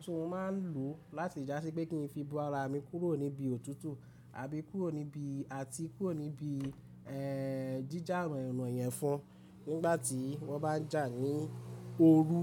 tí mo máa ń lò láti já sí i pé kí n fi bo ara mi kúrò níbi ọ̀tútù àti kúrò níbi jíjà ààrùn ọ̀nà yẹn fún nígbà tí wọ́n bá ń jà ní oorú.